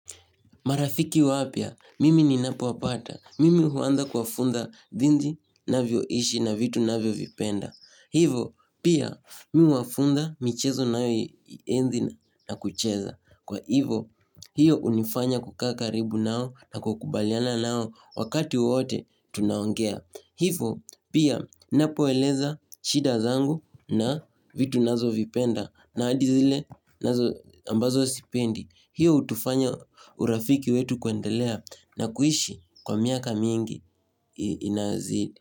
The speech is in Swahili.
Marafiki wapya, mimi ninapo wapata, mimi huanza kuwafunza jinsi navyoishi na vitu na vio vipenda. Hivo, pia, mimi wafunza michezo ninayoienzi na kucheza. Kwa hivo, hiyo hunifanya kukaa karibu nao na kukubaliana nao wakati wote tunaongea. Hivo, pia, napo eleza shida zangu na vitu nazovipenda na hadi zilile ambazo sipendi. Hiyo hutufanya urafiki wetu kwendelea na kuishi kwa miaka mingi inazidi.